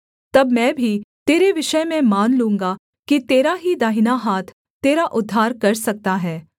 तब मैं भी तेरे विषय में मान लूँगा कि तेरा ही दाहिना हाथ तेरा उद्धार कर सकता है